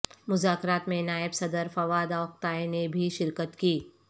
مذاکرات میں نائب صدر فواد اوکتائے نے بھی شرکت کی